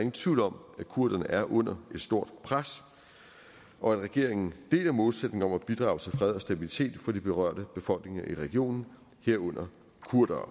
ingen tvivl om at kurderne er under et stort pres og at regeringen deler målsætningen om at bidrage til fred og stabilitet for de berørte befolkninger i regionen herunder kurdere